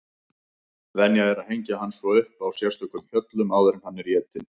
Venja er að hengja hann svo upp á sérstökum hjöllum áður en hann er étinn.